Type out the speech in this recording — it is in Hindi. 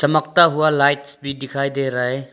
चमकता हुआ लाइट्स भी दिखाई दे रहा है।